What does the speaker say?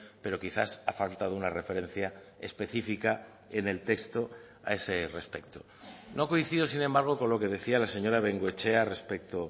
pero quizás ha faltado una referencia específica en el texto a ese respecto no coincido sin embargo con lo que decía la señora bengoechea respecto